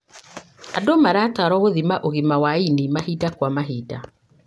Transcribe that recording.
Andũ maratarwo gũthima ũgima wa ini mahinda kwa mahinda.